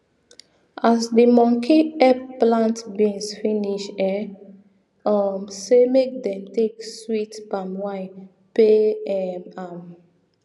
as the monkey epp plant beans finish e um say make dem take sweet palm wine pay um am